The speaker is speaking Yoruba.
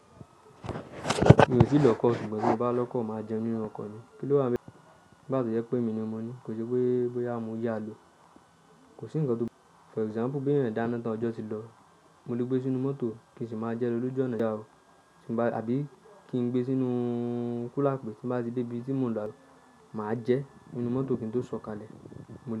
Mi ò tí lọ́kọ̀, ṣùgbọ́n tí mo bá lọ́kọ̀ máa jẹ nínú ọkọ̀ mi. Kí ló wá ń? Bá to ye pé èmi ni mo ní, kò sí pé bòyá mo yá lo. Kò sí ńǹkan tó pé for example pé èèyàn dáná tán ọjọ́ ti lọ, mo lè gbé sínú mọ́tò kì í sì máa jẹ lo loju ọ̀nà ìjà o, àbí kí n gbé sínú kula pé tí bá ti dé ibi tí mo ń lọ máa jẹ nínú mọ́tò kí n tó sọ̀kalẹ̀. Mo lè.